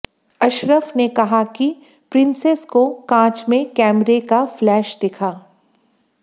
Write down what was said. अशरफ ने कहा कि प्रिंसेस को कांच में कैमरे का फ्लैश दिखा